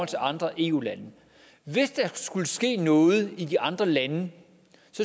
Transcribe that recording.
til andre eu lande hvis der skulle ske noget i de andre lande